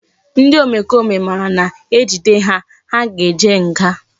Ndi omekome mara na ejide ha na ha ga eje nga